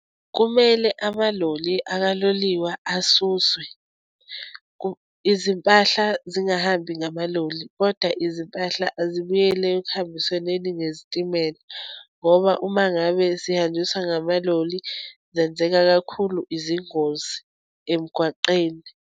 Kumele amaloli ukaloliwe asuswe. Izimpahla zingahambi ngamaloli, kodwa izimpahla azibuyele ekuhambisenweni ngezitimela ngoba uma ngabe zihanjiswa ngamaloli, zenzeka kakhulu izingozi emgwaqeni.